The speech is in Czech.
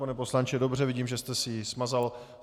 Pane poslanče, dobře, vidím, že jste si ji smazal.